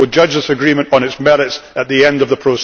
We will judge this agreement on its merits at the end of the